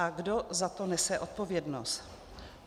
A kdo za to nese odpovědnost?